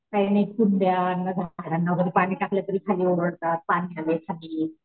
काही नाही कुंड्या ना झाडांना वर पाणी टाकलं तरी खाली ओरडतात पाणी आलय खाली.